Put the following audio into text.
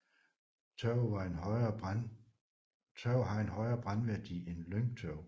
Tørv har en højere brændværdi end lyngtørv